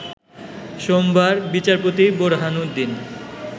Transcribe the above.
সোমবার বিচারপতি বোরহানউদ্দিন